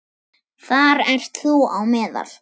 Þar ert þú á meðal.